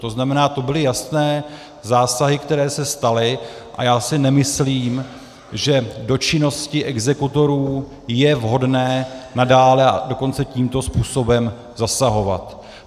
To znamená, to byly jasné zásahy, které se staly, a já si nemyslím, že do činnosti exekutorů je vhodné nadále, a dokonce tímto způsobem zasahovat.